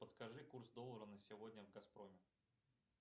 подскажи курс доллара на сегодня в газпроме